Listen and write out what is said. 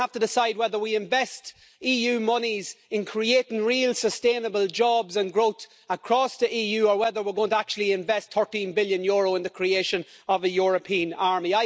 We're going to have to decide whether we invest EU monies in creating real sustainable jobs and growth across the EU or whether we're going to actually invest EUR 13 billion in the creation of a European army.